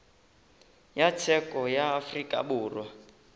ya tsheko ya afrika borwa